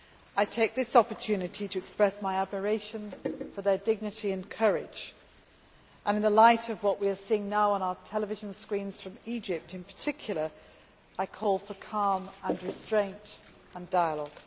I take this opportunity to express my admiration for their dignity and courage and, in the light of what we are seeing now on our television screens from Egypt in particular, I call for calm and restraint and dialogue.